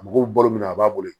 A mago bɛ balo min na a b'a bolo